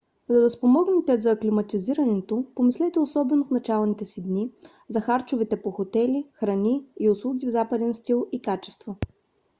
за да спомогнете за аклиматизирането помислете особено в началните си дни за харчове по хотели храни и услуги в западен стил и качество